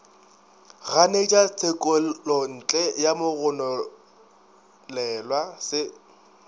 ganetša tshekelontle ya mogononelwa se